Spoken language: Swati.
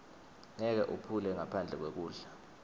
ngeke uphile ngaphandle kwekudla